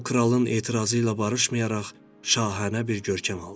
O kralın etirazı ilə barışmayaraq şahanə bir görkəm aldı.